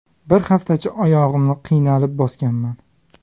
Bir haftacha oyog‘imni qiynalib bosganman.